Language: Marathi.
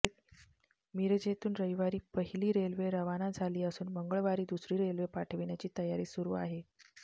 मिरजेतून रविवारी पहिली रेल्वे रवाना झाली असून मंगळवारी दुसरी रेल्वे पाठविण्याची तयारी सुरु आहे